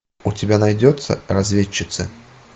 у тебя найдется разведчицы